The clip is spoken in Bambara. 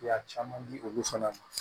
Ya caman di olu fana ma